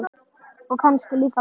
Og kannski líka væmið.